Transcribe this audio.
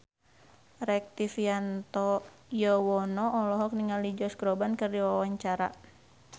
Rektivianto Yoewono olohok ningali Josh Groban keur diwawancara